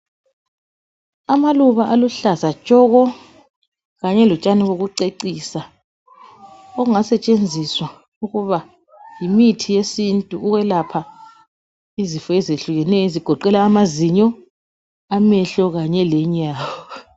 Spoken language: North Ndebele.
Amaluba aluhlaza tshoko Kanye lotshani bokucecisa okungasetshenziswa njengemithi yesiNtu eyelapha izifo ezitshiyeneyo ezigoqela amazinyo , amehlo kanye lenyawo.